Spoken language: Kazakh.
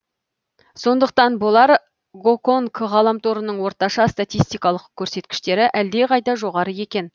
сондықтан болар гоконг ғаламторының орташа статистикалық көрсеткіштері әлде қайда жоғары екен